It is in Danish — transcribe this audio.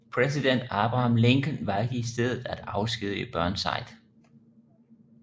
Præsident Abraham Lincoln valgte i stedet at afskedige Burnside